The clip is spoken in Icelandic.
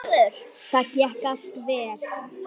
Þetta gekk allt vel.